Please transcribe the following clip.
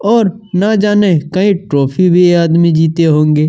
न जाने कहीं ट्रॉफी भी यह आदमी जीते होंगे।